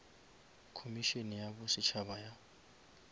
khomišene ya bo setšhaba ya